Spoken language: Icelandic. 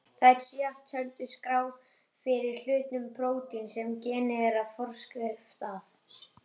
Þær síðast töldu skrá fyrir hlutum prótíns sem genið er forskrift að.